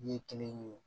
Ɲɛ kelen